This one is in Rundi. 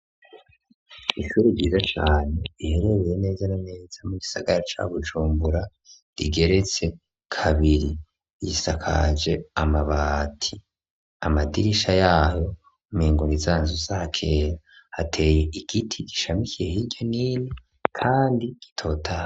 Ishure ryiza cane riherereye neza na neza mu gisagara ca bujumbura , rigeretse kabiri, risakaje amabati, amadirisha yaryo mengo ni zanzu za kera hateye igiti gishamikiye hiryo no hino kandi gitotahaye.